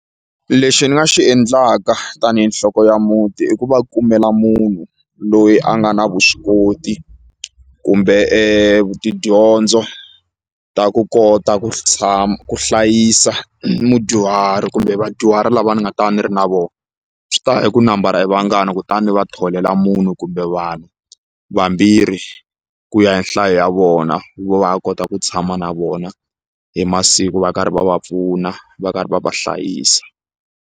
Lexi ni nga xi endlaka tanihi nhloko ya muti i ku va kumela munhu loyi a nga na vuswikoti kumbe tidyondzo ta ku kota ku ku hlayisa mudyuhari kumbe vadyuhari lava ni nga ta va ni ri na voho swi ta ya hi ku nambara i vangani kutani ni va tholela munhu kumbe vanhu vambirhi ku ya hi nhlayo ya vona va kota ku tshama na vona hi masiku va karhi va va pfuna va karhi va va hlayisa.